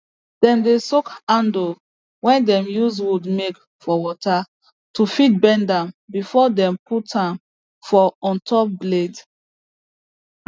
dem dey soak handle way dem use wood make for water to fit bend am before dem put am for on top blade